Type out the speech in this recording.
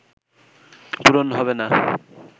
পূরণ হবে না